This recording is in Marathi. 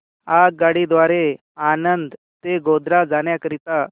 आगगाडी द्वारे आणंद ते गोध्रा जाण्या करीता